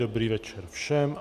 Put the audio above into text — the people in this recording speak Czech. Dobrý večer všem.